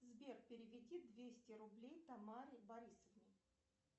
сбер переведи двести рублей тамаре борисовне